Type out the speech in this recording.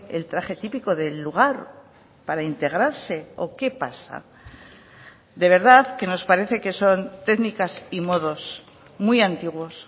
el traje típico del lugar para integrarse o qué pasa de verdad que nos parece que son técnicas y modos muy antiguos